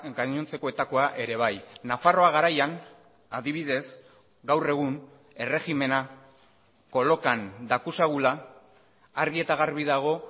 gainontzekoetakoa ere bai nafarroa garaian adibidez gaur egun erregimena kolokan dakusagula argi eta garbi dago